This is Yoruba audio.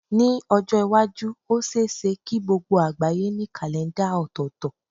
Ní ọjọ́ iwájú, ó ṣe é ṣe kí gbogbo àgbáyé ní kàlèńdà ọ̀tọ̀ọ̀tọ̀.